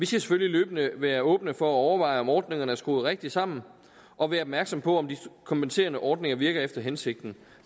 selvfølgelig løbende være åbne for at overveje om ordningerne er skruet rigtigt sammen og være opmærksomme på om de kompenserende ordninger virker efter hensigten